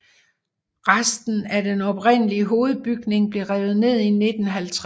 Resten af den oprindelige hovedbygning blev revet ned i 1950